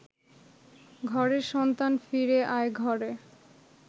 ঘরের সন্তান ফিরে আয় ঘরে